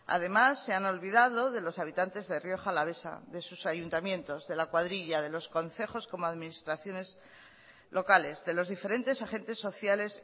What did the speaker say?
además se han olvidado de los habitantes de rioja alavesa de sus ayuntamientos de la cuadrilla de los concejos como administraciones locales de los diferentes agentes sociales